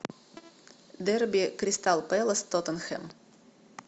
дерби кристал пэлас тоттенхэм